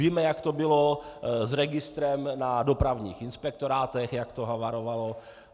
Víme, jak to bylo s registrem na dopravních inspektorátech, jak to havarovalo.